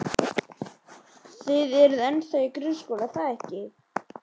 Þið eruð ennþá í grunnskóla, er það ekki?